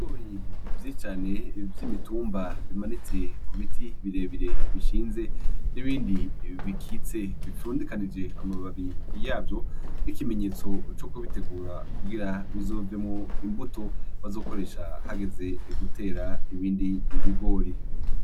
Gori vyi cane vy'imitumba bimanitse ku biti birebire bishinze n'ibindi bikitse bifundikanije amababi yavyo ikimenyetso co kubitegura kugira bizovemo imbuto bazokoresha hageze gutera ibindi bigori.